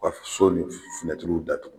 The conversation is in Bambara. U ka so ni datugu